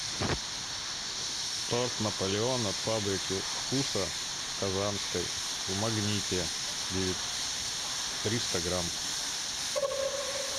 торт наполеон от фабрики вкуса казанской в магните триста грамм